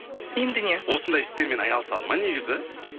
енді не осындай істермен айналысады ма негізі